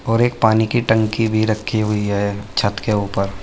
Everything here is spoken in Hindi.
और एक पानी की टंकी भी रखी हुई है छत के ऊपर।